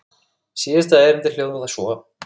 Síðasta erindið hljóðar svo